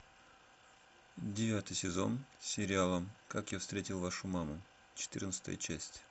девятый сезон сериала как я встретил вашу маму четырнадцатая часть